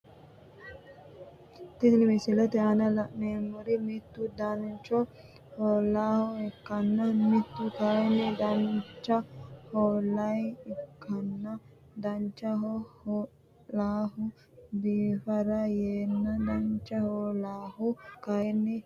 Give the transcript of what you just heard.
Tini misilete aana la`neemori mittu danancho hoo`laha ikana mittu kayini danancho hoolaha ikana danancho hoo`lahu biifara yeena danancho hoolahu kayini birahooti yaate.